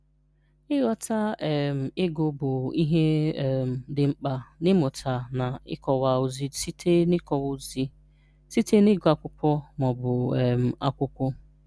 Ị́ghọ̀tà̀ um ị́gụ̀ bụ̀ ihè um dị̀ mkpà n’ị́mụ̀tà na ịkọ̀wà òzì sị̀tè ịkọ̀wà òzì sị̀tè n’ị́gụ̀ ákwụ̀kwọ̀ ma ọ̀bụ̀ um ákwụ̀kwọ̀